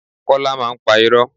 Kola máa ń pa irọ́